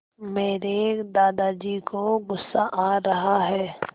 मेरे दादाजी को गुस्सा आ रहा है